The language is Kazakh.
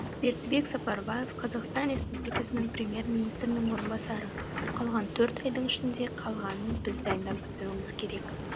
бердібек сапарбаев қазақстан республикасының премьер министрінің орынбасары қалған төрт айдың ішінде қалғанын біз дайындап бітіруіміз керек